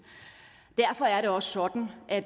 derfor er det også sådan at